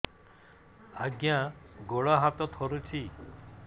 ଆଜ୍ଞା ଗୋଡ଼ ହାତ ଥରୁଛି